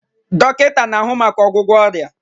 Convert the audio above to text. Dọkịta na-ahụ maka ọgwụgwọ ọrịa